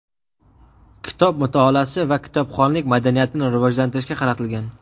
kitob mutolaasi va kitobxonlik madaniyatini rivojlantirishga qaratilgan.